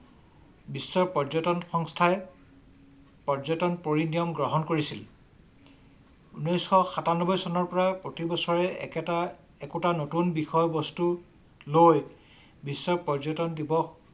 বিশ্বৰ পৰ্যটন ‌ সংস্থাই পৰ্যটন পৰি নিয়ম গ্ৰহণ কৰিছিল । ঊনৈশ সাতানব্বই চনৰ পৰা প্ৰতি বছৰে একেটা একোটা নতুন বিষয় বস্তু লৈ বিশ্ব পৰ্যটন দিৱস